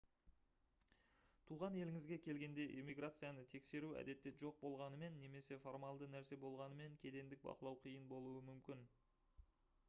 туған еліңізге келгенде иммиграцияны тексеру әдетте жоқ болғанымен немесе формалды нәрсе болғанымен кедендік бақылау қиын болуы мүмкін